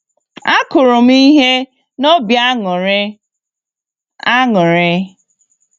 Akụrụ m ihe n'obi aṅụrị. aṅụrị.